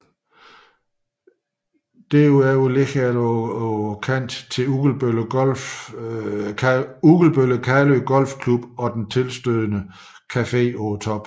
Desuden ligger der på kanten til Ugelbølle Kalø Golf Club og den tilstødende Café på Toppen